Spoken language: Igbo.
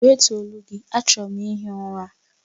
Wètuọ̀ olu gị, achọrọ m ihi ụra!